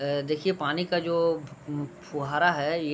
अ देखिये पानी का जो फुहारा है ये --